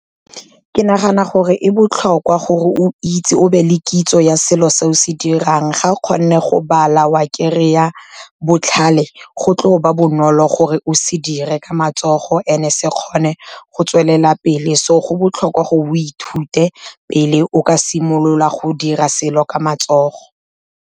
Ke nagana gore e botlhokwa gore o itse o be le kitso ya selo se o se dirang. Ga o kgone go bala wa kry-a botlhale, go tlo ba bonolo gore o se dire ka matsogo and e se kgone go tswelela pele. So go botlhokwa gore o ithute pele o ka simolola go dira selo ka matsogo.